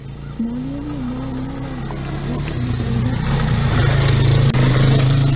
Moliyaviy muammolar bor, biz buni o‘ylab maydonga chiqayotganimiz yo‘q.